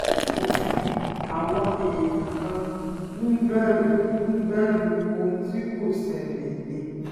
kò sí àwọn èèyàn kàn ń bẹ̀rù ń bẹ̀rù ohun tí kò ṣẹlẹ̀ ni